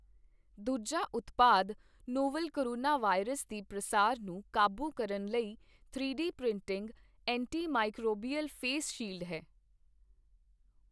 ਦੂਜਾ ਉਤਪਾਦ, novel coronavirus ਦੇ ਪ੍ਰਸਾਰ ਨੂੰ ਕਾਬੂ ਕਰਨ ਲਈ three D printing antimicrobial face shield ਹੈ।